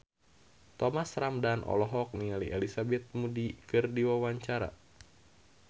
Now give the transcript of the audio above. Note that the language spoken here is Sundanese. Thomas Ramdhan olohok ningali Elizabeth Moody keur diwawancara